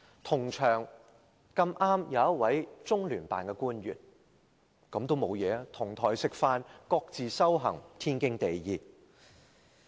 同場剛好有一位中聯辦的官員，這也沒有問題，"同檯食飯，各自修行，天經地義"。